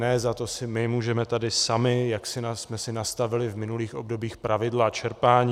Ne, za to si my můžeme tady sami, jak jsme si nastavili v minulých obdobích pravidla čerpání.